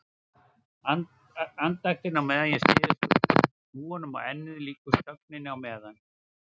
Andaktin á meðan ég styð hnúum á ennið líkust þögninni á meðan